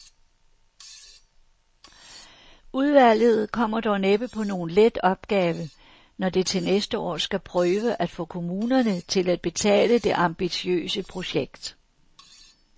Udvalget kommer dog næppe på nogen let opgave, når det til næste år skal prøve at få kommunerne til at betale det ambitiøse projekt.